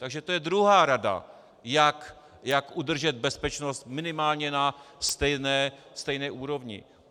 Takže to je druhá rada, jak udržet bezpečnost minimálně na stejné úrovni.